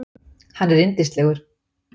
Hann er yndislegur.